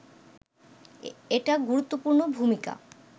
এটা গুরুত্ত্বপূর্ন ভূমিকা